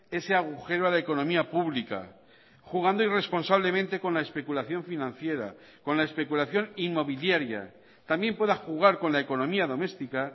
ese agujero a la economía pública jugando irresponsablemente con la especulación financiera con la especulación inmobiliaria también pueda jugar con la economía doméstica